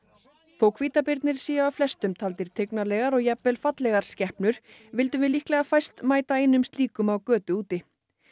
þótt hvítabirnir séu af flestum taldir tignarlegar og jafnvel fallegar skepnur vildum við líklega fæst mæta einum slíkum á götu úti